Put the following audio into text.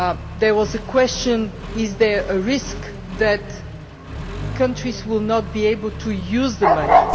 There was a question on whether there is a risk that countries will not be able to use the money.